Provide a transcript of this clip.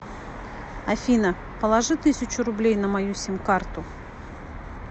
афина положи тысячу рублей на мою сим карту